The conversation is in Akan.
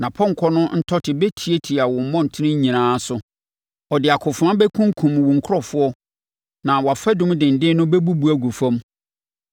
Nʼapɔnkɔ no ntɔte bɛtiatia wo mmɔntene nyinaa so. Ɔde akofena bɛkunkum wo nkurɔfoɔ na wʼafadum denden no bɛbubu agu fam.